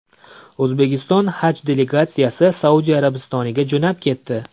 O‘zbekiston haj delegatsiyasi Saudiya Arabistoniga jo‘nab ketdi.